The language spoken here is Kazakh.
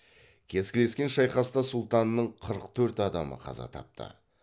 кескілескен шайқаста сұлтанның қырық төрт адамы қаза тапты